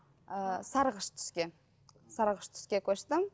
ы сарғыш түске сарғыш түске көштім